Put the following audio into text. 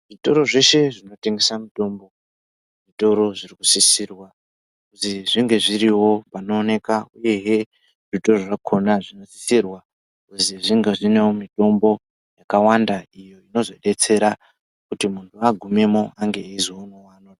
Zvitoro zveshe zvinotengesa mutombo , zvitoro zvinosisirwa kuzi zvinge zviriwo panooneka uyehe zvitoro zvakhona zvinosisirwa kuzi zvingewo zvine mitombo yakawanda inozodetsera kuti munhu agumemwo ange achizopuwa.